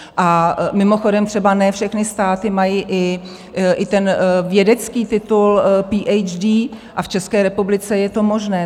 A mimochodem, třeba ne všechny státy mají i vědecký titul Ph.D., a v České republice je to možné.